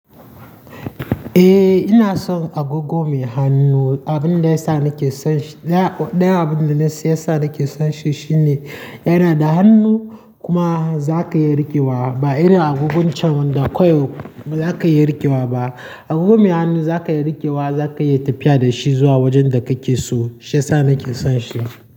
Eh ina son agogo mai hannu. Abin da yasa nake son shi, ɗaya abunda na siyan sa nake son shi shine yana da hannu kuma za ka iya riƙewa ba irin agogun can da kawai ba za ka iya riƙewa ba. Agogo me hannu za ka iya riƙewa, za ka iya tafiya da shi zuwa wajen da kake so. Shi yasa nake son shi.